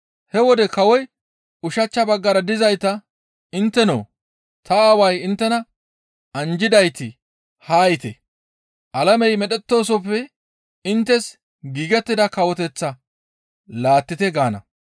He wode kawoy ushachcha baggara dizayta, ‹Inttenoo! Ta Aaway inttena anjjidayti haa yiite! Alamey medhettoosoppe inttes giigettida kawoteththaa laattite! gaana.